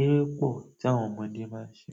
Eré pọ̀ tí àwọn ọmọdé máa ń ṣe.